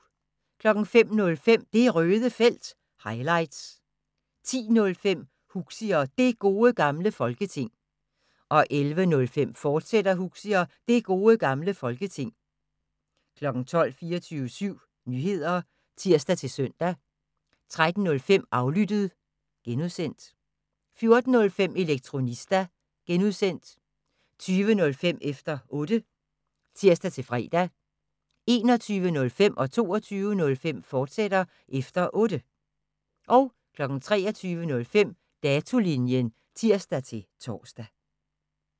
05:05: Det Røde Felt – highlights 10:05: Huxi og Det Gode Gamle Folketing 11:05: Huxi og Det Gode Gamle Folketing, fortsat 12:00: 24syv Nyheder (tir-søn) 13:05: Aflyttet (G) 14:05: Elektronista (G) 20:05: Efter Otte (tir-fre) 21:05: Efter Otte, fortsat (tir-fre) 22:05: Efter Otte, fortsat (tir-fre) 23:05: Datolinjen (tir-tor)